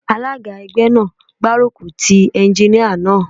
Alága ẹgbẹ́ náà ń gbárùkù tí Éúnjíníà náà